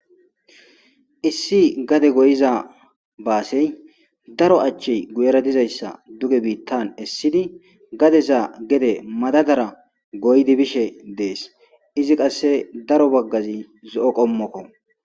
Issi gade goyiza basey giyera daro achchey de'iza duge bitan esid gadeza gede madadara goyid efishshe des izi qase daro bagaz zo'o qomokko